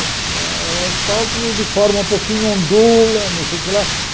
O asfalto de forma um pouquinho ondula, não sei o que lá.